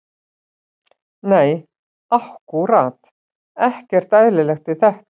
Nei ákkúrat ekkert eðlilegt við þetta.